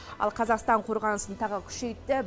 ал қазақстан қорғанысын тағы күшейтіп